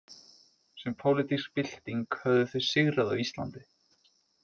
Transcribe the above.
Sem pólitísk bylting höfðu þau sigrað á Íslandi.